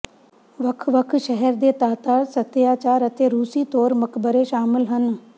ਵੱਖ ਵੱਖ ਸ਼ਹਿਰ ਦੇ ਤਾਤਾਰ ਸਭਿਆਚਾਰ ਅਤੇ ਰੂਸੀ ਤੌਰ ਮਕਬਰੇ ਸ਼ਾਮਲ ਹਨ